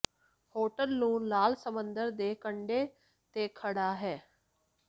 hotel ਨੂੰ ਲਾਲ ਸਮੁੰਦਰ ਦੇ ਕੰਢੇ ਤੇ ਖੜ੍ਹਾ ਹੈ